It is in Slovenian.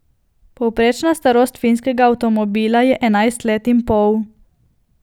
Povprečna starost finskega avtomobila je enajst let in pol!